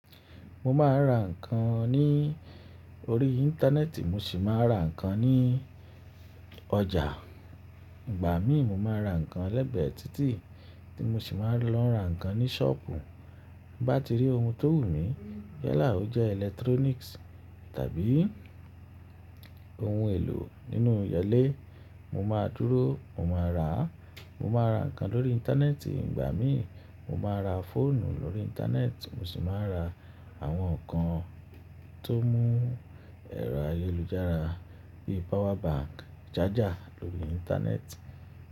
Mo máa ra nǹkan ní orí íńtánẹ́ẹ́tì, mo sì máa ra nǹkan ní ọjà. Ìgbà mìí, mo máa ra nǹkan legbẹ̀é títì tí mo sì máa lọ ra nǹkan ní ṣọ́ọ̀pù. Bin bá ti rí ohun tó wù mí, yala ó jẹ́ eletronisi tàbí ohun èlò nínú ilé, mo máa dúró, mo máa rà á. Mo máa ra nǹkan lórí íńtánẹ́ẹ́tì. Ìgbà mìí, mo máa ra fóònù lórí íńtánẹ́ẹ́tì, mo sì máa ra àwọn nǹkan tó mú ẹrọ ayélujára bíi pawa banki, saja lórí íńtánẹ́ẹ́tì.